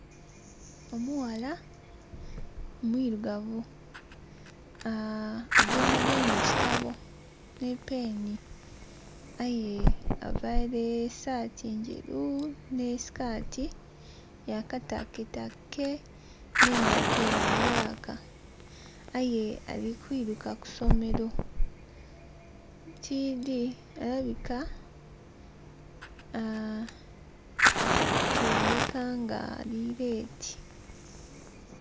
Omughala mwirugavu, agemagainya ekitabo ni peeni, aye availe esaati nderu ni skaati yakataketake nengaito ya bulaka aye ali kulumuka kuisomero. Tidhi kiboneka nga ali leeti.